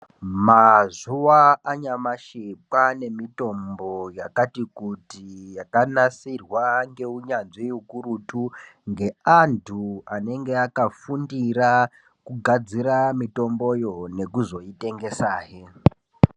Mazuwa anyamashi kwaane mitombo yakati kuti, yakanasirwa ngeunyanzvi ukurutu ,ngeantu anenge akafundira kugadzira mitomboyo, nekuzotengesahe.